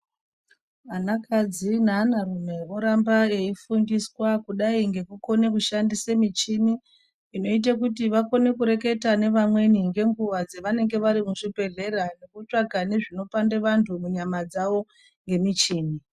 Anakadzi neanarume voramba veifundiswa kudai ngekukona kushandisa michini inoita kuti vakone kureketa nevamweni ngenguwa dzevanenge vari muzvibhedhlera nekutsvaka nezvinopanda vantu munyama dzavo ngemichini.